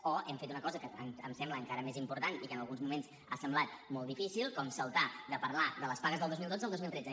o hem fet una cosa que em sembla encara més important i que en alguns moments ha semblat molt difícil com saltar de parlar de les pagues del dos mil dotze a les del dos mil tretze